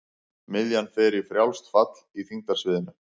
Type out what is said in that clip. Miðjan fer í frjálst fall í þyngdarsviðinu.